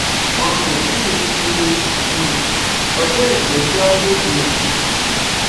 wọn kò tí ì fi um ọjọ ìgbẹjọ lédè